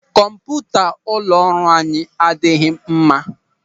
Kọmputa ụlọ ọrụ anyị adịghị mma.